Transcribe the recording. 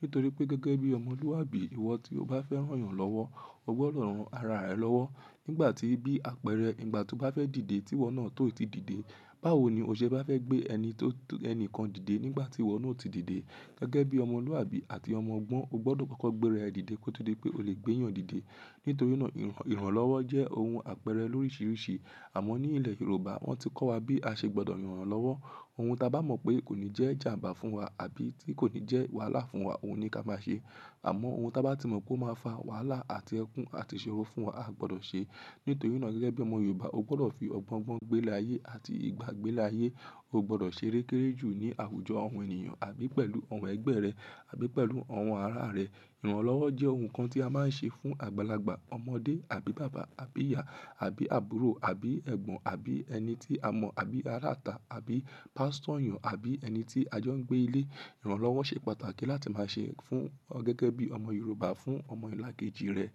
Nítorí pé gẹgẹbi ọmọluabi, iwọ tí o bá fẹ ran yan lọwọ, o gbọdọ ran ara rẹ lọwọ. Nígbàtí bí àpẹẹrẹ ìgbà tó bá fẹ dìde, tí iwọ náà tó ti dìde. Báwo ni o ṣe bá fẹ gbé ẹni kan dìde nígbàtí iwọ náà oti dìde. Gẹgẹbi ọmọluabi àti ọmọ ọgbọ̀n, o gbọdọ kọkọ gbé ra ẹ dìde kó tó di pé ó lè gbé èèyàn dìde. Nítorí náà, ìrànlọ́wọ́ jẹ ohun àpẹẹrẹ lorisi risi. Àmọ́ ní ilẹ Yoruba, wọn ti kọ wa bí a ṣe gbọdọ ran èèyàn lọwọ. Ohun ta bá mọ pé kò ní jẹ ìjàmbá fún wa àbí tí kò ní jẹ wàhálà fún wa, ohun ni ká má ṣe. Àmọ́ ohun ta bá ti mọ pé o má fa wàhálà àti ẹkún àti ìṣòro fún wa, a gbọdọ ṣe. Nítorí náà gẹgẹbi ọmọ Yoruba, o gbọdọ fi ọgbọn gbọn gbé ilé ayẹ àti ìgbà gbé ilé ayẹ. O gbọdọ ṣe kekere jù ní àwùjọ ọhun ènìyàn àbí pẹ̀lú ọhun ẹgbẹ rẹ àbí pẹ̀lú ọhun ara rẹ. Ìrànlọ́wọ́ jẹ ohun kan tí a má ń ṣe fún àgbàlagbà, ọmọdé àbí bàbá àbí ìyá àbí àbúrò àbí ẹgbọn àbí ẹni tí a mọ àbí ara ìta àbí pastor èyàn àbí ẹni tí ajọ ń gbé ilé. Ìrànlọ́wọ́ ṣe pàtàkì láti ma ṣe gẹgẹbi ọmọ Yoruba fún ọmọ ilá kejì rẹ.